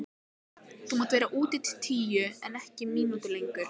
Þú mátt vera úti til tíu en ekki mínútu lengur.